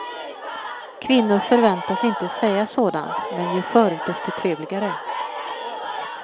Kvinnor förväntas inte säga sådant, men ju förr desto trevligare.